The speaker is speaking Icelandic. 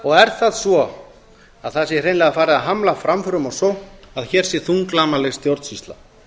og er það svo að það sé hreinlega farið að hamla framförum og sókn að hér sé þunglamaleg stjórnsýsla